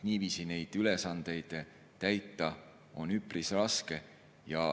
Niiviisi neid ülesandeid täita on üpris raske.